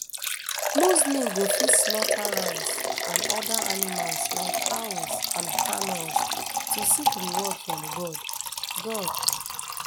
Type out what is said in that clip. muslim go fit slaughter rams and oda animals like cows and camels to seek reward from god god